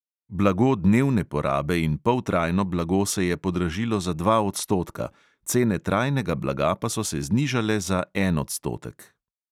Blago dnevne porabe in poltrajno blago se je podražilo za dva odstotka, cene trajnega blaga pa so se znižale za en odstotek.